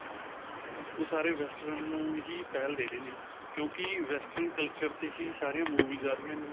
ਓਹ ਸਾਰੇ western ਨੂੰ ਹੀ ਪਹਿਲ ਦੇ ਰਹੇ ਨੇ ਕਿਉਂਕਿ western culture 'ਤੇ ਹੀ ਸਾਰੀ movies ਆ ਰਹਿਆਂ ਨੇ.